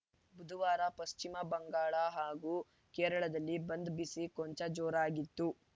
ಬುಧವಾರ ಪಶ್ಚಿಮ ಬಂಗಾಳ ಹಾಗೂ ಕೇರಳದಲ್ಲಿ ಬಂದ್‌ ಬಿಸಿ ಕೊಂಚ ಜೋರಾಗಿತ್ತು